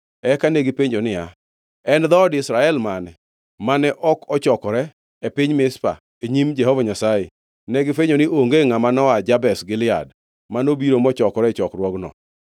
Eka negipenjo niya, “En dhoot Israel mane mane ok ochokore e piny Mizpa e nyim Jehova Nyasaye?” Negifwenyo ni onge ngʼama noa Jabesh Gilead manobiro mochokore e chokruokno.